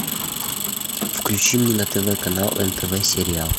включи мне на тв канал нтв сериал